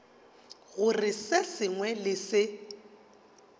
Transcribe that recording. gore se sengwe le se